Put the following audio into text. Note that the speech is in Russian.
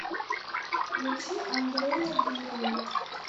включи андрея бирина